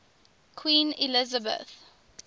queen elizabeth